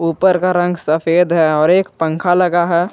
ऊपर का रंग सफेद है और एक पंख लगा है।